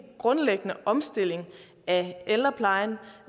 grundlæggende omstilling af ældreplejen